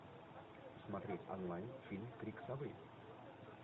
смотреть онлайн фильм крик совы